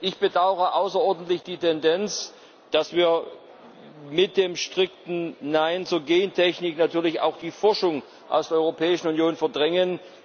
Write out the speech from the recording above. Ich bedaure außerordentlich die Tendenz, dass wir mit dem strikten Nein zur Gentechnik natürlich auch die Forschung aus der Europäischen Union verdrängen.